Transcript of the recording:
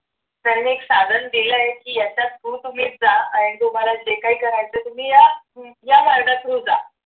त्याने एक साधन दिलय की याच्या through तुम्ही जा. आणि तुम्हाला जे काही करायचे ते तुम्ही या या मार्गात through जा